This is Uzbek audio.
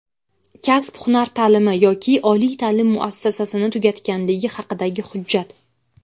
kasb-hunar ta’limi yoki oliy ta’lim muassasasini tugatganligi haqidagi hujjat;.